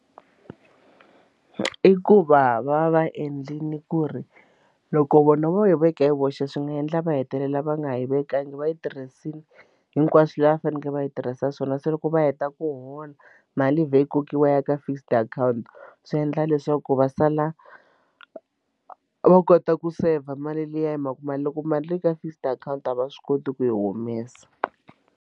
I ku va va va endlile ku ri loko vona va yi veka hi voxe swi nga endla va hetelela va nga yi vekangi va yi tirhisile hinkwaswo laha va faneleke va yi tirhisa swona se loko va heta ku hola mali vhe yi kokiwa ya ka fixed account swi endla leswaku va sala va kota ku saver mali liya hi mhaka mali loko mali yi ri ka fixed account a va swi koti ku yi humesa.